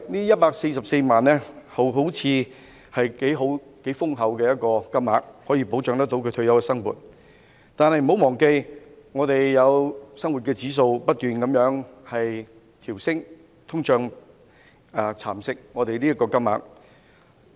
一百四十四萬元聽起來好像是頗豐厚的金額，可以保障其退休生活，但不要忘記，生活指數會不斷上升，通脹亦會蠶食這筆積蓄。